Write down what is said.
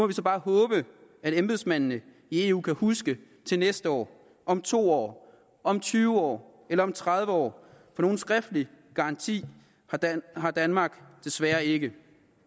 vi så bare håbe at embedsmændene i eu kan huske det til næste år om to år om tyve år eller om tredive år for nogen skriftlig garanti har danmark desværre ikke